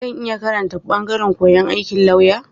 Zan iya karanta ɓangaren koyon aikin lauya.